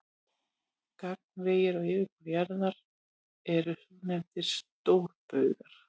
Gagnvegir á yfirborði jarðar eru svonefndir stórbaugar.